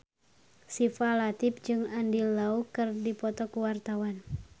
Syifa Latief jeung Andy Lau keur dipoto ku wartawan